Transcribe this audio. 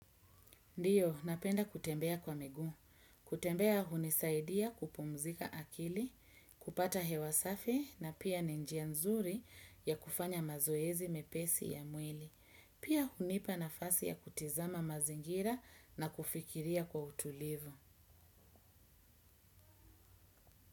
Ndiyo, napenda kutembea kwa miguu. Kutembea hunisaidia kupumzika akili, kupata hewa safi na pia ni njia nzuri ya kufanya mazoezi mepesi ya mwili. Pia, hunipa nafasi ya kutizama mazingira na kufikiria kwa utulivu.